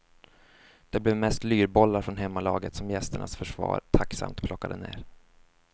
Det blev mest lyrbollar från hemmalaget som gästernas försvar tacksamt plockade ner.